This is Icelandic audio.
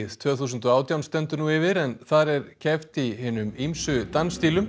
tvö þúsund og átján stendur nú yfir en þar er keppt í hinum ýmsu